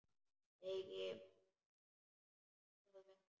Eigi mun það verða.